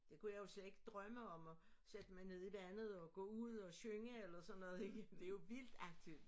Det kunne jeg jo slet ikke drømme om at sætte mig ned i vandet og gå ud og synge eller sådan noget ikke det jo vildt aktivt